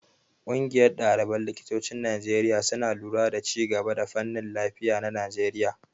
Ƙungiyar ɗaliban likitocin Najeriya suna lura da ci gaban fannin lafiya na Najeriya.